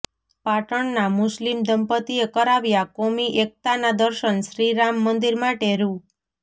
પાટણના મુસ્લિમ દંપત્તિએ કરાવ્યા કોમી એકતાના દર્શનઃ શ્રીરામ મંદિર માટે રૂા